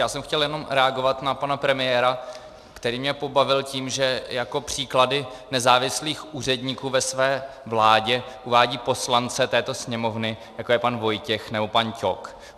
Já jsem chtěl jenom reagovat na pana premiéra, který mě pobavil tím, že jako příklady nezávislých úředníků ve své vládě uvádí poslance této Sněmovny, jako je pan Vojtěch nebo pan Ťok.